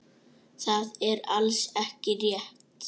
Það er alls ekki rétt.